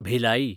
Bhilai